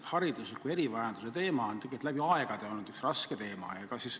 Haridusliku erivajaduse teema on läbi aegade olnud üks raske teema.